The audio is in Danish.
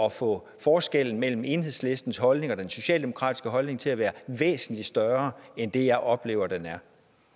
at få forskellen mellem enhedslistens holdning og den socialdemokratiske holdning til at være væsentlig større end det jeg oplever den er